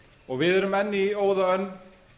og við erum enn í óðaönn